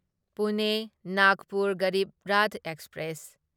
Pune Nagpur Garib Rath express